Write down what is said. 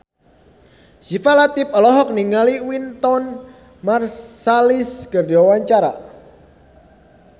Syifa Latief olohok ningali Wynton Marsalis keur diwawancara